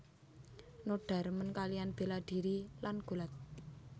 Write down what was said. Noda remen kaliyan bela dhiri lan gulat